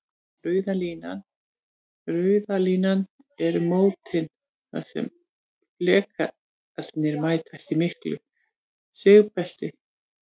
Rauða línan eru mótin þar sem flekarnir mætast, í miklu sigbelti.